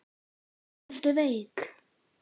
Ertu veik?